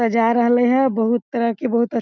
सजा रहले ह बहुत तरह के बहुत अ --